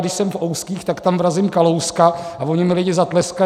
Když jsem v ouzkých, tak tam vrazím Kalouska a oni mi lidi zatleskají.